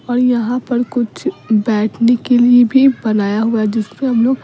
और यहां पर कुछ बैठने के लिए भी बनाया हुआ है जिससे हम लोग --